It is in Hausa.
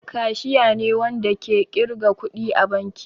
Kashiya ne Wanda ke kirga kuɗi a banki.